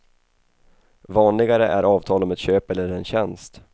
Vanligare är avtal om ett köp eller en tjänst.